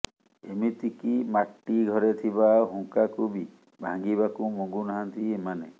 ଏମିତି କି ମାଟି ଘରେ ଥିବା ହୁଙ୍କାକୁ ବି ଭାଙ୍ଗିବାକୁ ମଙ୍ଗୁ ନାହାଁନ୍ତି ଏମାନେ